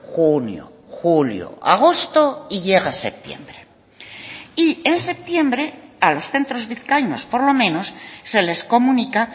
junio julio agosto y llega septiembre y en septiembre a los centros vizcaínos por lo menos se les comunica